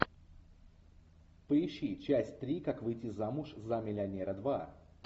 поищи часть три как выйти замуж за миллионера два